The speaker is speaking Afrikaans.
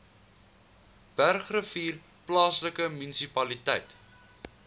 bergrivier plaaslike munisipaliteit